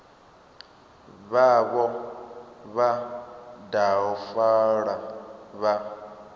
vhavho vha daha fola vha